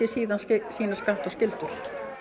sína sína skatta og skyldur